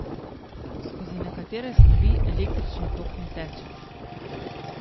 Skozi nekatere snovi električni tok ne teče.